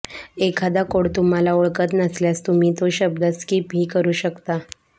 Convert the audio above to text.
एखादा कोड तुम्हाला ओळखत नसल्यास तुम्ही तो शब्द स्किप हि करू शकता